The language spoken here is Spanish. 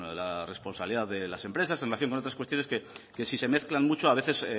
la responsabilidad de las empresas en relación con otras cuestiones que si se mezclan mucho a veces